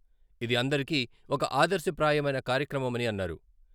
ఇది అందరికీ ఒక ఆదర్శప్రాయమైన కార్యక్రమమని అన్నారు.